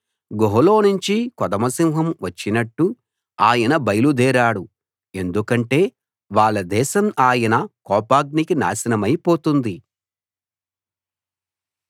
గుహలోనుంచి కొదమ సింహం వచ్చినట్టు ఆయన బయలుదేరాడు ఎందుకంటే వాళ్ళ దేశం ఆయన కోపాగ్నికి నాశనమైపోతుంది